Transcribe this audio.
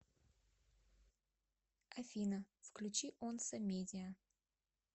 афина включи онса медиа